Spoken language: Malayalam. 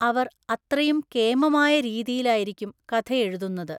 അവര്‍ അത്രയും കേമമായ രീതിയിലായിരിക്കും കഥയഴുതുന്നത്.